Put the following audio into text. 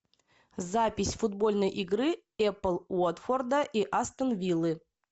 запись футбольной игры апл уотфорда и астон виллы